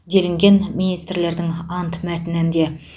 делінген министрлердің ант мәтінінде